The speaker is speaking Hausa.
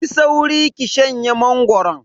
Yi sauri ki shanye mangoron.